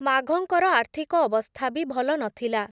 ମାଘଙ୍କର, ଆର୍ଥିକ ଅବସ୍ଥା ବି ଭଲ ନଥିଲା ।